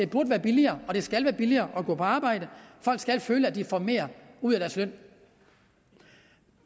burde være billigere og det skal være billigere at gå på arbejde folk skal føle at de får mere ud af deres løn